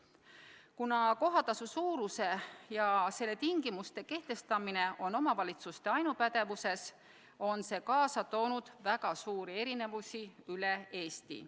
Kuna kohatasu suuruse ja selle tingimuste kehtestamine on omavalitsuste ainupädevuses, on see kaasa toonud väga suuri erinevusi üle Eesti.